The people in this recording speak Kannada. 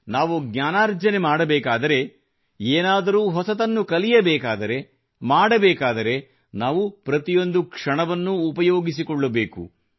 ಅಂದರೆ ನಾವು ಜ್ಞಾನಾರ್ಜನೆ ಮಾಡಬೇಕಾದರೆ ಏನಾದರೂ ಹೊಸದನ್ನು ಕಲಿಯಬೇಕಾದರೆ ಮಾಡಬೇಕಾದರೆ ನಾವು ಪ್ರತಿಯೊಂದು ಕ್ಷಣವನ್ನೂ ಉಪಯೋಗಿಸಿಕೊಳ್ಳಬೇಕು